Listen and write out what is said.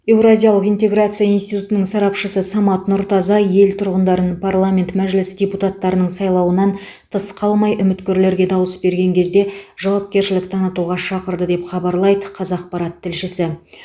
еуразиялық интеграция институтының сарапшысы самат нұртаза ел тұрғындарын парламент мәжілісі депутаттарының сайлауынан тыс қалмай үміткерлерге дауыс берген кезде жауапкершілік танытуға шақырды деп хабарлайды қазақпарат тілшісі